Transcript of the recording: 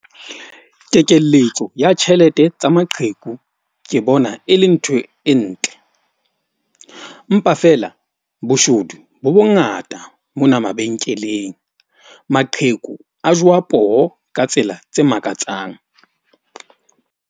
Kekelletso ya tjhelete tsa maqheku. Ke bona e le ntho e ntle. Mpa feela boshodu bo bongata mona mabenkeleng. Maqheku a jowa poho ka tsela tse makatsang.